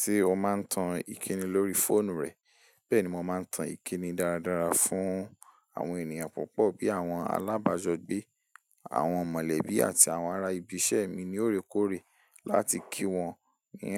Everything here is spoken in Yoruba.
Ṣé o máa ń tan ìkíni lórí fóònù rẹ? Bẹ́ẹ̀ ni mo máa ń tan ìkíni dáradára fún àwọn ènìyàn púpọ̀ bí i àwọn alábà jọ́gbé, àwọn mọ̀lẹ́bí àti àwọn ará ibi iṣẹ́ mi ní óorekóore láti kí wọn ní